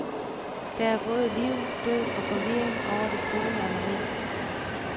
Der er både liv, død og forvirring over det store maleri.